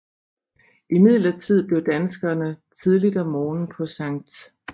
Imidlertid blev danskerne tidligt om morgenen på Skt